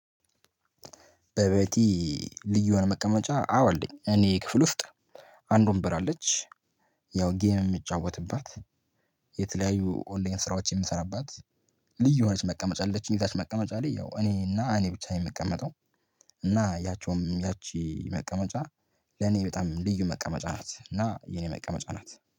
በቤቲ ልዩ የሆነ መቀመጫ አወ አለች እኔ ክፍል ውስጥ አንድ ወንበር አለች። ያው ጌም ምጫወትባት የተለያዩ ኦንላይን ስራዎች የምሰራባት። ልዩ የሆነች መቀመጫ አለችኝ እዛች መቀመጫ ላይ ያው እኔና እኔ ብቻ ነኝ ምቀመጠው። እና ያቺውም ያቺ መቀመጫ ለኔ በጣም ልዩ መቀመጫ ናት እና የኔ መቀመጫ ናት